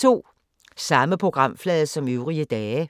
Samme programflade som øvrige dage